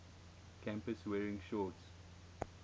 campus wearing shorts